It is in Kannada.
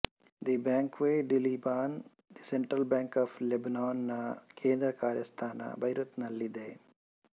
the Banque du Liban the central bank of Lebanon ನ ಕೇಂದ್ರಕಾರ್ಯಸ್ಥಾನ ಬೈರುತ್ ನಲ್ಲಿದೆ